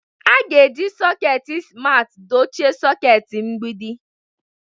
A ga-eji sọketi simarti dochie soketi mgbidi.